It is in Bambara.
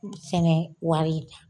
Ku sɛnɛ wari di yan.